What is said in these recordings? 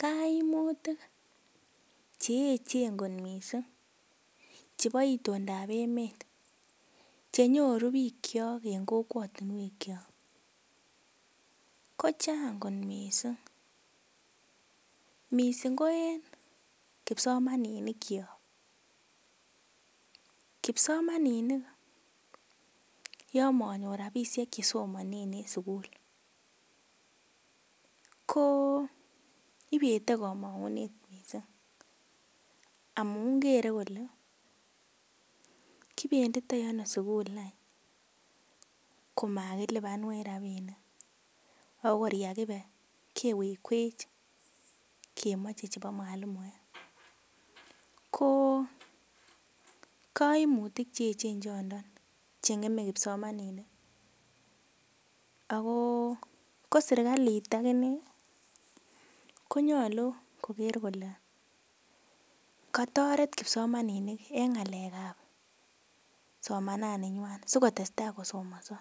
Kaimutik cheechen kot mising chepo itondap emet chenyoru piik cho eng kokwotunwek cho kochang kot mising, mising ko en kipsomaninik cho kipsomaninik yo manyor ropisiek chesomanee en sukul ko ipetei komongunet mising amun kere kole kipenditoi ano sukul anyun koma kilipanwech ropinik akor yakipe kewekwech kemoche chepo mwalimue ko kaimutik cheechen choto chengemei kipsomaninik ako koserkalit akine konyolu koker kole katoret kipsomaninik eng ng'alek ap somanani nywan sikotestai kosomonso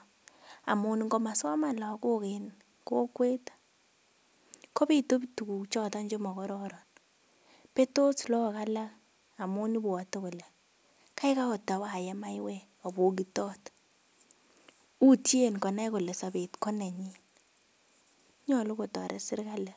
amun ngomasoman lakok en kokwet kopitu tukuk choton chemokororon petos laak alak amun ipwotei kole kaikai awaye mywek apokitot utien konai kole sopet konenyi nyolu kotoret serikali